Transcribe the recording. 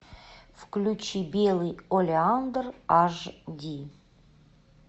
включи белый олеандр аш ди